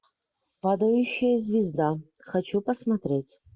падающая звезда хочу посмотреть